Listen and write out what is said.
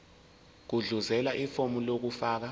gudluzela ifomu lokufaka